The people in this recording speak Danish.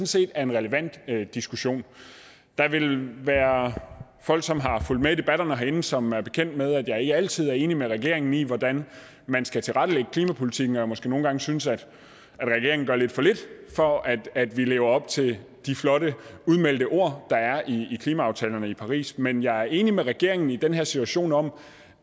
set er en relevant diskussion der vil være folk som har fulgt med i debatterne herinde som er bekendt med at jeg ikke altid er enig med regeringen i hvordan man skal tilrettelægge klimapolitikken og måske nogle gange synes at regeringen gør lidt for lidt for at at vi lever op til de flotte udmeldte ord der er i klimaaftalerne fra paris men jeg er enig med regeringen i den her situation om